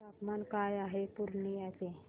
तापमान काय आहे पूर्णिया चे